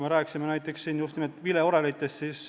Me rääkisime siin näiteks just nimelt vileorelitest.